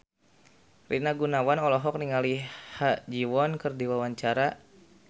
Rina Gunawan olohok ningali Ha Ji Won keur diwawancara